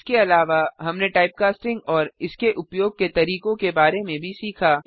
इसके अलावा हमने टाइपकास्टिंग और इसके उपयोग के तरीकों के बारे में भी सीखा